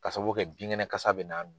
Ka sababuya kɛ binkɛnɛ kasa bɛ na